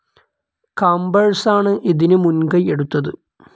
കാംബേഴ്സാണ് ഇതിനു മുൻകൈ എടുത്തത്.